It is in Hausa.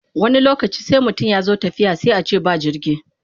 Wani lokacin sai mutum ya zo tafiya sai a ce ba jirgi.